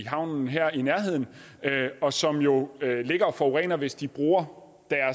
havnen her i nærheden og som jo ligger og forurener hvis de bruger